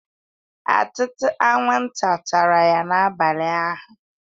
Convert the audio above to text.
Ọtụtụ anwụnta tara ya n'abalị ụnyahụ